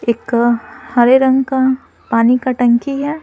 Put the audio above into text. एक हरे रंग का पानी का टंकी है।